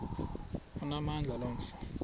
onamandla lo mfo